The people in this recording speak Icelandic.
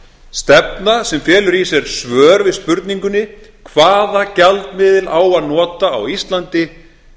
stefna sem felur í sér svör við spurningunni hvaða gjaldmiðil á að nota á íslandi